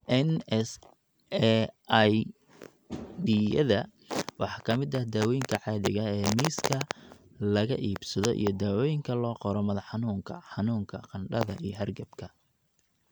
NSAID-yada waxaa ka mid ah daawooyinka caadiga ah ee miiska laga iibsado iyo daawooyinka loo qoro madax xanuunka, xanuunka, qandhada, ama hargabka.